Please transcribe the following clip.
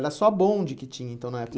Era só bonde que tinha então na época?